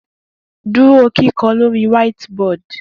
Duro kikọ lori whiteboard